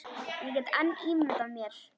Ég get enn ímyndað mér!